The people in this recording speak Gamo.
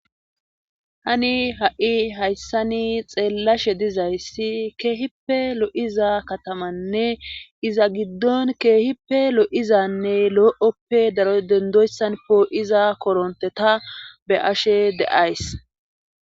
Tani ha7i hayssani xeellashe dizayssi keehippe lo7iza katamanne iza giddon keehippe lo7izanne lo7oppe daro dendoyssan poo7iza koronte ta be ashe de7ays.